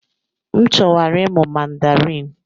M chọwara ịmụ Mandarin.